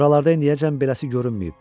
Buralarda indiyəcən beləsi görünməyib.